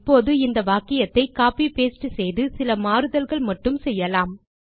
இப்போது இந்த வாக்கியத்தை கோப்பி பாஸ்டே செய்து சில மாறுதல்கள் மட்டும் செய்யலாம்